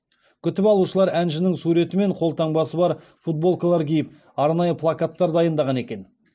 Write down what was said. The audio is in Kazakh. күтіп алушылар әншінің суреті мен қолтаңбасы бар футболкалар киіп арнайы плакаттар дайындаған екен